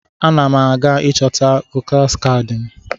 Ana m aga ịchọta kaadị vootu m.